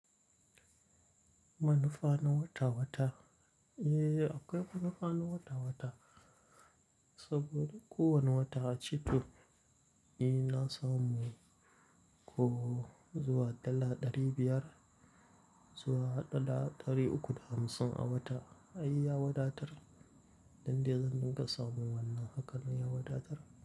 Manufa na wata-wata? Eh, akwai manufa na wata-wata saboda kowana wata a ci to, ina samu ko zuwa dala ɗari biyar, zuwa dala ɗari uku da hamsin a wata. Ai ya wadatar, dande zan dinga samu wannan haka nan ya wadatar.